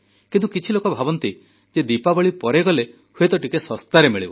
କିନ୍ତୁ କିଛି ଲୋକ ଭାବନ୍ତି ଯେ ଦୀପାବଳି ପରେ ଗଲେ ହୁଏତ ଟିକେ ଶସ୍ତାରେ ମିଳିବ